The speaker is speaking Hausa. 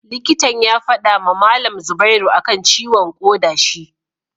Likitan ya fadama malam zubairu akan ciwon koda shi